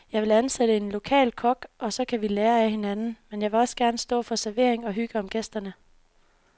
Jeg vil ansætte en lokal kok, og så kan vi lære af hinanden, men jeg vil gerne selv stå for servering og hygge om gæsterne.